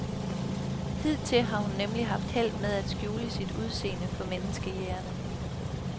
Hidtil har hun nemlig haft held med at skjule sit udseende for menneskejægerne.